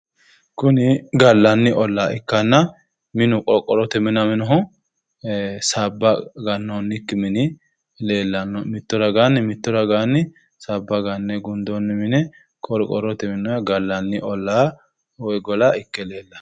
kuni gallanni ollaa ikkanna minu qorqorrote minaminohu sabba gannoonniki mini leellanno mitto raganni sabba ganne gundoonni mine qorqorrote minnooyiiha gallanni ollaa woyi gola ikke leellanno